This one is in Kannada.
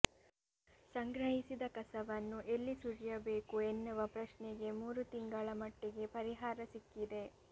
ಸಂಗ್ರಹಿಸಿದ ಕಸವನ್ನು ಎಲ್ಲಿ ಸುರಿಯಬೇಕು ಎನ್ನುವ ಪ್ರಶ್ನೆಗೆ ಮೂರು ತಿಂಗಳ ಮಟ್ಟಿಗೆ ಪರಿಹಾರ ಸಿಕ್ಕಿದೆ